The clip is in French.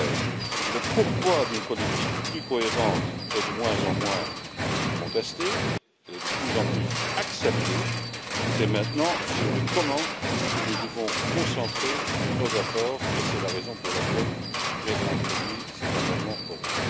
2013. Le pourquoi d'une politique plus cohérente est de moins en moins contesté celle ci est de plus en plus acceptée c'est maintenant sur le comment que nous devons concentrer nos efforts et c'est la raison pour laquelle j'ai introduit cet amendement oral.